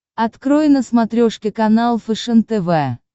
открой на смотрешке канал фэшен тв